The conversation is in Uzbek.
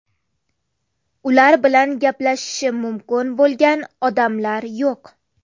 Ular bilan gaplashishi mumkin bo‘lgan odamlar yo‘q.